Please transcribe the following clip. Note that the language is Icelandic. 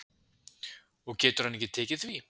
Og getur hann ekki tekið því?